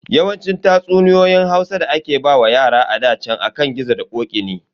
Yawancin tatsuniyoyin Hausa da ake wa yara a ɗa chan akan gizo da ƙoƙi ne.